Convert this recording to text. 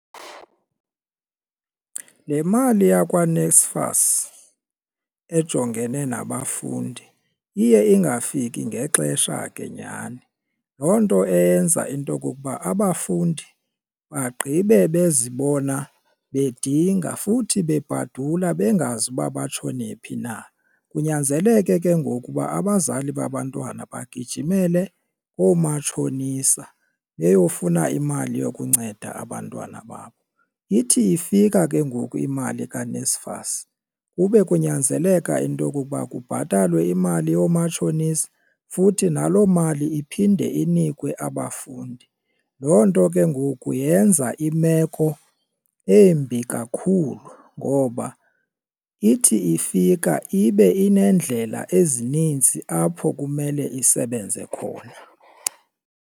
Le mali yakwaNSFAS ejongene nabafundi iye ingafiki ngexesha ke nyhani loo nto eyenza into okokuba abafundi bagqibe bezibona bedinga futhi bebhadula bengazi uba batshone phi na. Kunyanzeleke ke ngoku uba abazali babantwana bagijimele koomatshonisa beyofuna imali yokunceda abantwana babo, ithi ifika ke ngoku imali kaNSFAS kube kunyanzeleka into okokuba kubhatalwe imali yoomatshonisa futhi naloo mali iphinde inikwe abafundi. Loo nto ke ngoku yenza imeko embi kakhulu ngoba ithi ifika ibe ineendlela ezininzi apho kumele isebenze khona.